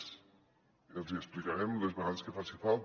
i els hi explicarem les vegades que faci falta